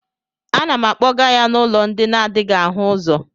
A na m akpọga ya n'ụlọ ndi n'adịghị áhù ụzọ